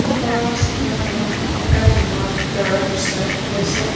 ওপৰৰ চিত্ৰ খনত এটা জিমৰ ভিতৰৰ দৃশ্য দেখা গৈছে।